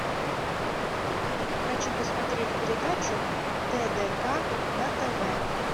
хочу посмотреть передачу тдк на тв